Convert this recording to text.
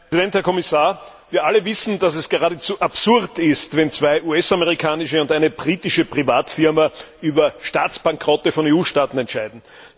Herr Präsident, Herr Kommissar! Wir alle wissen, dass es geradezu absurd ist, wenn zwei US amerikanische und eine britische Privatfirma über Staatsbankrotte von EU Staaten entscheiden.